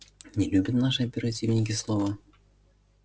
не любят наши оперативники слова